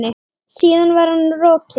Síðan var hann rokinn.